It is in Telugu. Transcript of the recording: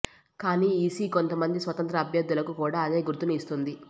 కానీ ఈసీ కొంతమంది స్వతంత్ర అభ్యర్థులకు కూడా అదే గుర్తును ఇస్తోంది